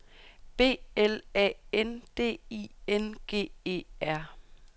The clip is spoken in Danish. B L A N D I N G E R